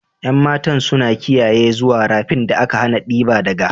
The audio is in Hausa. Yan matan suna kiyaye zuwa rafin da aka hana diba daga.